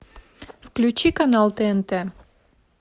включи канал тнт